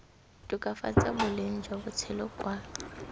tokafatsa boleng jwa botshelo kwa